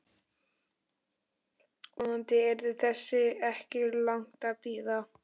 Vonandi yrði þess ekki langt að bíða.